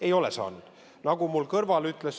Ei ole saanud!